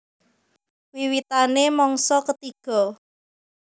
Wiwitané mangsa ketiga